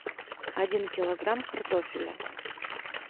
один килограмм картофеля